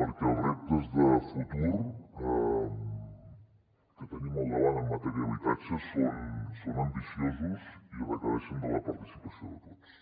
perquè els reptes de futur que tenim al davant en matèria d’habitatge són ambiciosos i requereixen la participació de tots